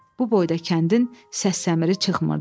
Bu boyda kəndin səs-səmiri çıxmırdı.